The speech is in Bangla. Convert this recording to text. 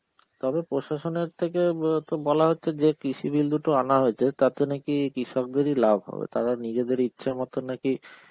তবে প্রশাসনের থেকে ব বলা হচ্ছে যে কৃষি bill দুটো আনা হয়েছে তাতে নাকি কৃষকদেরই লাভ হবে, তারা নিজেদের ইচ্ছা মতন নাকি